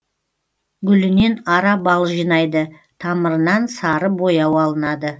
гүлінен ара бал жинайды тамырынан сары бояу алынады